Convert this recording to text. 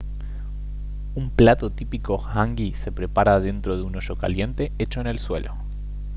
un plato típico hangi se prepara dentro de un hoyo caliente hecho en el suelo